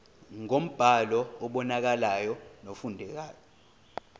ngombhalo obonakalayo nofundekayo